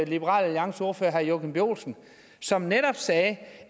liberal alliances ordfører herre joachim b olsen som netop sagde